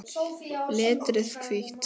Letrið hvítt.